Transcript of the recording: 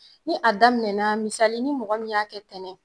Ni a daminɛna, misali ni mɔgɔ min y'a kɛ ntɛnɛn